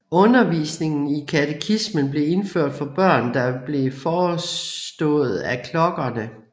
Undervisning i katekismen blev indført for børn og blev forestået af klokkerne